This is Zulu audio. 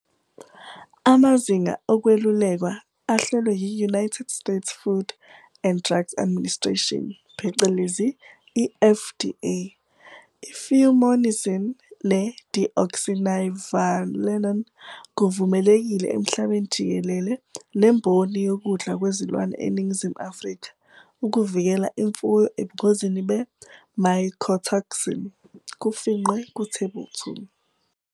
Amazinga okwelulekwa ahlelwe yi-United States Food and Drugs Administration, phecelezi i-FDA, i-fumonisin ne-deoxynivalenol kuvumelekile emhlabeni jikelele nemboni yokudla kwezilwane eNingizimu Afrika ukuvikela imfuyo ebungozini be-mycotoxin, phecelezi kufingqiwe kuThebula 2.